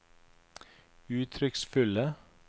uttrykksfulle